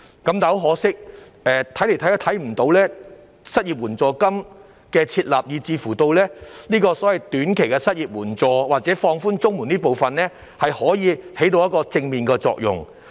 但很可惜，怎麼看也看不到失業援助金的設立，以至所謂的短期失業援助或放寬綜援這方面，可以起到甚麼正面作用。